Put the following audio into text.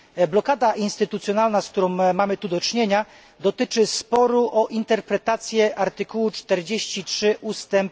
Blokada instytucjonalna, z którą mamy tu do czynienia, dotyczy sporu o interpretację artykułu 46 ust.